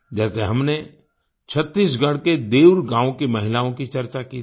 जैसे हमने छत्तीसगढ़ के देउर गाँव की महिलाओं की चर्चा की थी